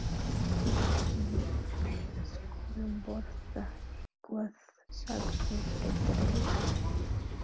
Við skulum borða eitthvað sagði Friðrik.